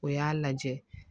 O y'a lajɛ